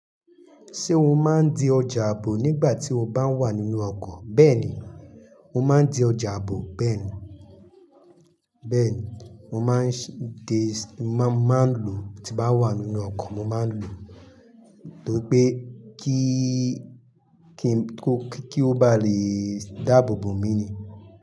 Ṣé o máa ń di ọjà ààbò nígbà tí o bá wà nínú ọkọ̀? Bẹ́ẹ̀ni, mo máa ń di ọjà ààbò. Bẹ́ẹ̀ni, bẹ́ẹ̀ni mo máa ń di, má máa ń lo tí bá wà nínú ọkọ̀ mo máa ń lo, tó pé kí, kí, kí ó bá lè dáàbò bò mí ni.